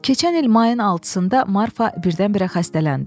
Keçən il mayın 6-sında Marfa birdən-birə xəstələndi.